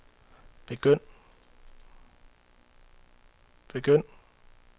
begynd